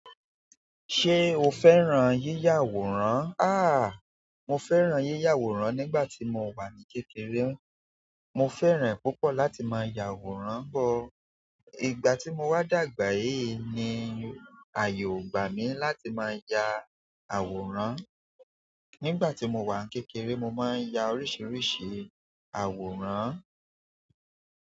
Ṣé o fẹ́ràn yíyà àwòrán? Ah, mo fẹ́ràn yíyà àwòrán nígbà tí mo wà ní kékeré. Mo fẹ́ràn ẹ̀ púpọ̀ láti máa ya àwòrán pọ. Ìgbà tí mo wá dàgbà yìí ni ààyò ò gbà mí láti máa ya àwòrán. Nígbà tí mo wà ní kékeré mo máa ń ya oríṣiríṣi àwòrán.